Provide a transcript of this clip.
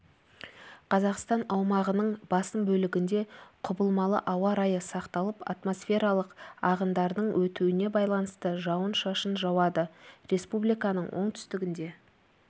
қазақстан аумағының басым бөлігінде құбылмалы ауа райы сақталып атмосфералық ағындардың өтуіне байланысты жауын-шашын жауады республиканың оңтүстігінде